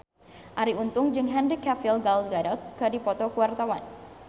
Arie Untung jeung Henry Cavill Gal Gadot keur dipoto ku wartawan